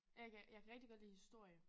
Jeg kan jeg kan rigtig godt lide historie